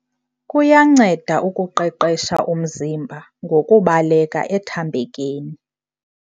Kuyanceda ukuqeqesha umziba ngokubaleka ethambekeni.